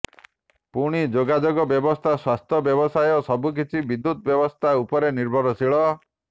ପାଣି ଯୋଗାଯୋଗ ବ୍ୟବସ୍ଥା ସ୍ୱାସ୍ଥ୍ୟ ବ୍ୟବସାୟ ସବୁକିଛି ବିଦ୍ୟୁତ ବ୍ୟବସ୍ଥା ଉପରେ ନିର୍ଭରଶୀଳ